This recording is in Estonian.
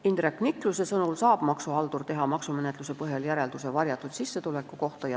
Indrek Nikluse sõnul saab maksuhaldur teha maksumenetluse põhjal järelduse varjatud sissetuleku kohta.